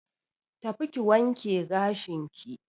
Tafi ki wanke gashinki.